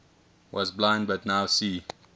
was blind but now see